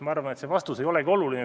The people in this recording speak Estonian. Ma arvan, et see vastus ei olegi oluline.